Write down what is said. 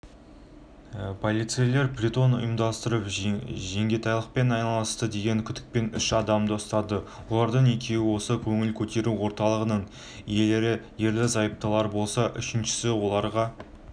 полицейлер притон ұйымдастырып жеңгетайлықпен айналысты деген күдікпен үш адамды ұстады олардың екеуі осы көңіл көтеру орталығының иелері ерлі-зайыптылар болса үшіншісі оларға